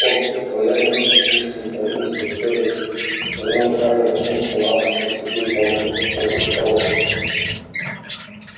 под их влиянием внешние провинции которые со времён хардина смотрят на нас как на святую планету могут отколоться